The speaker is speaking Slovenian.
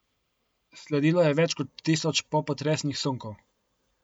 Sledilo je več kot tisoč popotresnih sunkov.